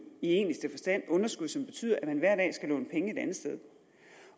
i egentligste forstand underskud som betyder at man hver dag skal låne penge et andet sted